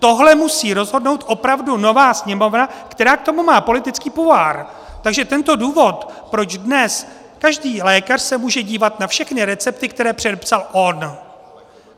Tohle musí rozhodnout opravdu nová Sněmovna, která k tomu má politický pouvoir, takže tento důvod, proč dnes každý lékař se může dívat na všechny recepty, které předepsal on.